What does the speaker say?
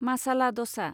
मासाला दसा